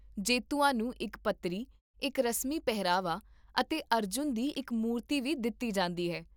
ਜੇਤੂਆਂ ਨੂੰ ਇੱਕ ਪੱਤਰੀ, ਇੱਕ ਰਸਮੀ ਪਹਿਰਾਵਾ, ਅਤੇ ਅਰਜੁਨ ਦੀ ਇੱਕ ਮੂਰਤੀ ਵੀ ਦਿੱਤੀ ਜਾਂਦੀ ਹੈ